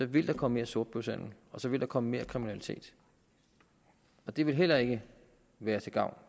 vil der komme mere sortbørshandel og så vil der komme mere kriminalitet og det vil heller ikke være til gavn